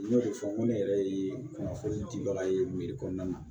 N y'o de fɔ n ko ne yɛrɛ ye kunnafoni dibaga ye kɔnɔna na